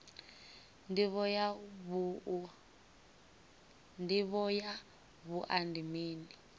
ndivho ya wua ndi mini